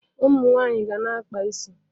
Ụmụ nwaanyị ga na-akpa isi.